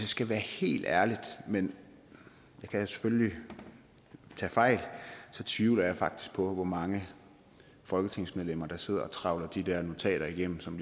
skal være helt ærlig men jeg kan selvfølgelig tage fejl tvivler jeg faktisk på hvor mange folketingsmedlemmer der sidder og trawler de der notater igennem som